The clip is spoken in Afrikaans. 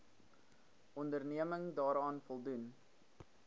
onderneming daaraan voldoen